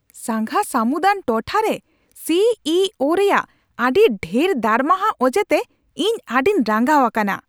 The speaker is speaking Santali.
ᱥᱟᱸᱜᱷᱟ ᱥᱟᱹᱢᱩᱫᱟᱱ ᱴᱚᱴᱷᱟᱨᱮ ᱥᱤ ᱤ ᱳᱼᱨᱮᱭᱟᱜ ᱟᱹᱰᱤ ᱰᱷᱮᱨ ᱫᱟᱨᱢᱟᱦᱟ ᱚᱡᱮᱛᱮ ᱤᱧ ᱟᱹᱰᱤᱧ ᱨᱟᱸᱜᱟᱣ ᱟᱠᱟᱱᱟ ᱾